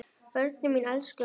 Börnin mín elskuðu hann.